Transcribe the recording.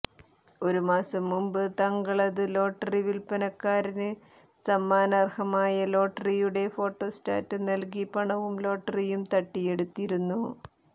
ഒരു മാസം മുമ്പ് തങ്കളത്ത് ലോട്ടറി വില്പനക്കാരന് സമ്മാനാര്ഹമായ ലോട്ടറിയുടെ ഫോട്ടോസ്റ്റാറ്റ് നല്കി പണവും ലോട്ടറിയും തട്ടിയെടുത്തിരുന്നു